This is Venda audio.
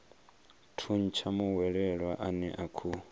thuntsha muhwelelwa ane a khou